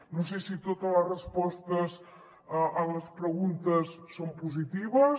no sé si totes les respostes a les preguntes són positives